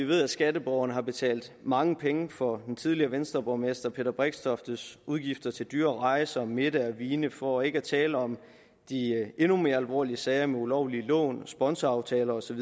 ved at skatteborgerne har betalt mange penge for den tidligere venstreborgmester peter brixtoftes udgifter til dyre rejser og middage og vine for ikke at tale om de endnu mere alvorlige sager om ulovlige lån og sponsoraftaler osv